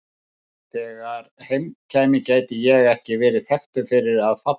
Þegar heim kæmi gæti ég ekki verið þekktur fyrir að falla.